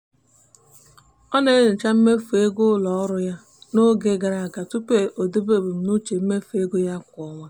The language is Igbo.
ọ na-enyocha mmefu ego n'ọrụ ụlọ n'oge gara aga tupu o debe ebumnuche mmefu ego ya kwa ọnwa.